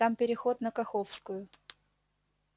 там переход на каховскую